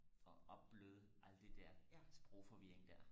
og opbløde alt det der sprogforvirring der